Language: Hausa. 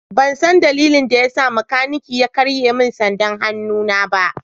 Ban san dalilin da ya sa makanikin ya karye min sandar hannuna ba.